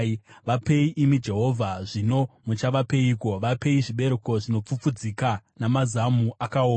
Vapei, imi Jehovha, zvino muchavapeiko? Vapei zvibereko zvinopfupfudzika namazamu akaoma.